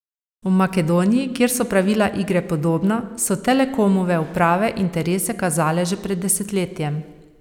V Makedoniji, kjer so pravila igre podobna, so Telekomove uprave interese kazale že pred desetletjem.